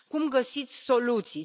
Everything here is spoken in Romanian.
Cum găsiți soluții?